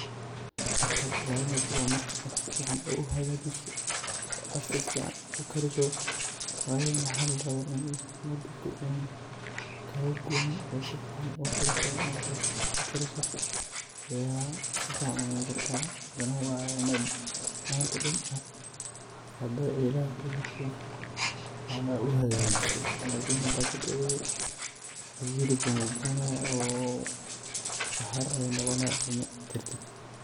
Marka aad ilalineyso waa marka aad si fican u hagajiso oo asiga sifican ukariso wayo maxaa la rawa in u dabka ka guwanin oo aad si fican ukariso marka aa sifican ukariso aya sifican ucuni kartaa hadana waa in aa manta dan xaqaadadha ilhey kugu jirto oo aa sifican u hagajiso hada katagto hilibkan wu guwanaya saxarir ayu noqonaya macuni kartid.